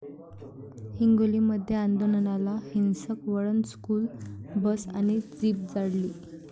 हिंगोलीमध्ये आंदोलनाला हिंसक वळण, स्कुल बस आणि जीप जाळली